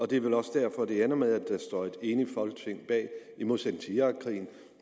det er vel også derfor det ender med at der står et enigt folketing bag i modsætning til irakkrigen